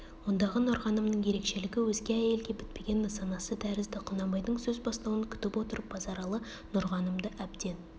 ондағы нұрғанымның ерекшелігі өзге әйелге бітпеген нысанасы тәрізді құнанбайдың сөз бастауын күтіп отырып базаралы нұрғанымды әбден